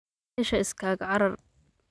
Mesha iskakacarar.